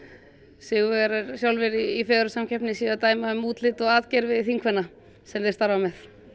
sigurvegarar sjálfir í fegurðarsamkeppni séu að dæma um útlit og atgervi þingkvenna sem þeir starfa með